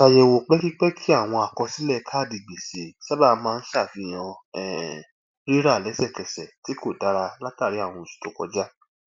ṣàyẹwò pẹkipẹki àwọn àkọsílẹ káàdì gbèsè sábà maa ń ṣàfihàn um rírà lẹsẹkẹsẹ tí kò dara látàrí àwọn oṣù tó kọjá